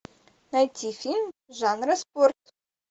найти фильм жанра спорт